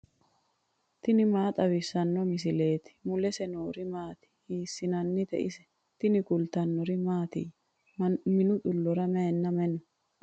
tini maa xawissanno misileeti ? mulese noori maati ? hiissinannite ise ? tini kultannori mattiya? Minnu xuloora mayiinna mayi noo?